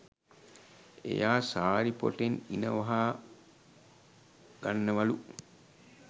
එයා සාරි පො‍ටෙන් ඉණ වහ ගන්නවලු.